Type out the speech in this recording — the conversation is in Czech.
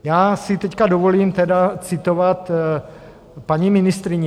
Já si teď dovolím tedy citovat paní ministryni.